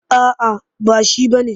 A'a ba shi ba ne.